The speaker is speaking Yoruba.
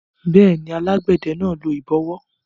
Bẹ́ẹ̀ni, alágbẹ̀dẹ náà lo ìbọwọ́